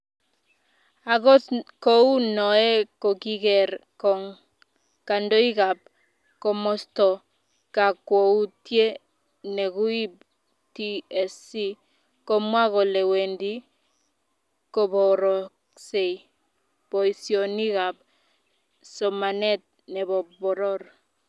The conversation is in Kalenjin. akot kou noee kokiker kong kandoikab komosoto kakwoutie nekuib tsc komwa kole wendi koboroksei boisionikab somanet nebo poror